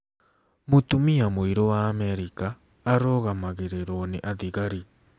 Mũtumia Mũirũ wa Amerika Ũrũgamagĩrĩrũo nĩ Athigari